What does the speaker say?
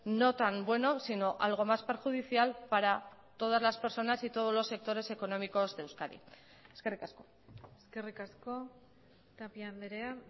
no tan bueno sino algo más perjudicial para todas las personas y todos los sectores económicos de euskadi eskerrik asko eskerrik asko tapia andrea